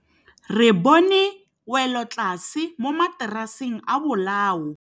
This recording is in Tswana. Re bone wêlôtlasê mo mataraseng a bolaô.